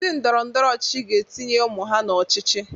Ndị ndọrọ ndọrọ ọchịchị ga-etinye ụmụ ha n'ọchịchị.